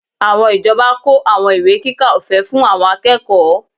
Àwọn ìjọba kó àwọn ìwé kíkà ọ̀fẹ́ fún àwọn akẹ́kọ̀ọ́